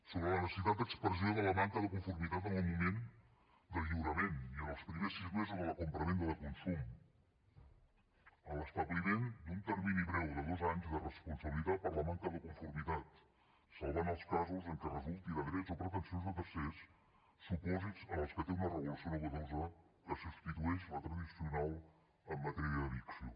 sobre la necessitat d’expressió de la manca de conformitat en el moment del lliurament i en els primers sis mesos de la compravenda de consum a l’establiment d’un termini breu de dos anys de responsabilitat per la manca de conformitat salvant els casos en què resulti de drets o pretensions de tercers supòsits en els quals té una regulació nova que substitueix la tradicional en matèria d’evicció